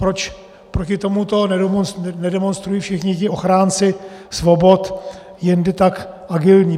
Proč proti tomuto nedemonstrují všichni ti ochránci svobod, jindy tak agilní?